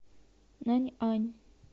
наньань